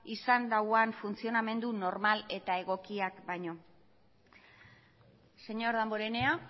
izan dauan funtzionamendu normal eta egokiak baino señor damborenea